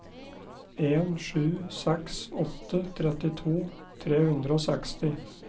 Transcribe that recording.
en sju seks åtte trettito tre hundre og seksti